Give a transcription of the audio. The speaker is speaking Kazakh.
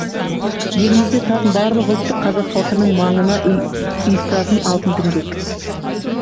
елімізде тұратын барлық ұлтты қазақ халқының маңына ұйыстыратын алтын діңгек